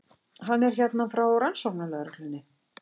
Hann er hérna frá rannsóknarlögreglunni.